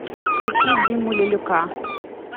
включи диму лелюка